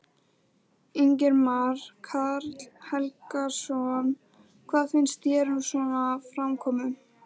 Ingimar Karl Helgason: Hvað finnst þér um svona framkomu?